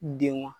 Denw